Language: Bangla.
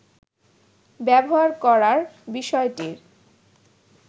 ব্যবহার করার বিষয়টির